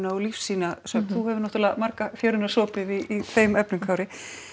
og lífsýnasöfn þú hefur náttúrulega marga fjöruna sopið í þeim efnum Kári